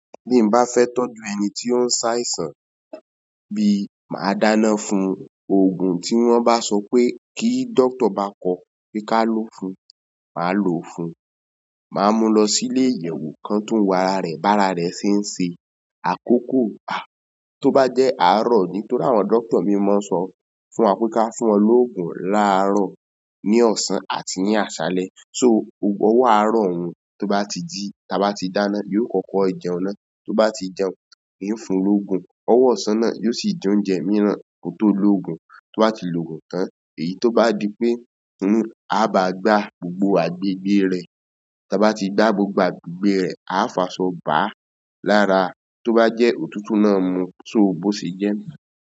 Bí mo bá fẹ́ tọ́jú ẹni tí ó ń ṣàìsàn bí i, màá dáná fún òògùn tí wọ́n bá sọ pé kí doctor bá kọ́ pé ká lò ó fún, màá lò ó fún. Màá mú lọ sílé ìyẹ̀wò kan tó ń wo ara rẹ̀, bá ara rẹ̀ ṣe ń ṣe. Àkókò a, tó bá jẹ́ àárọ̀ nítorí àwọn doctor mi mọ́ sọ fún wa pé ká fún wọn lóògùn láàárọ̀ ní ọ̀sán àti ní àsálẹ́. So, ọwọ́ àárọ̀ òun tó bá ti jí, tí a bá ti dáná, yóò kọ́kọ́ jẹun ná. Tó bá ti jẹun, ìn fún lóògùn. Ọwọ́ ọ̀sán náà yóò sì jẹ oúnjẹ mìíràn kó tó lóògùn. Tó bá ti lò ògùn tán, èyí tó bá di pé inú a bá gbá gbogbo agbègbè rẹ̀. Tí a bá ti gbá gbogbo agbègbè rẹ̀, a fàṣọ bà á lára. Tó bá jẹ́ òtútù náà mu, so bó ṣe jẹ́